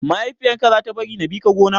Mahaifiyar ka za ta bari na bi ka gona?